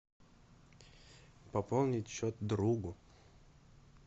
пополнить счет другу